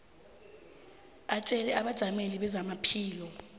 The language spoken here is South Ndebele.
atjele abajameli bezamaphilo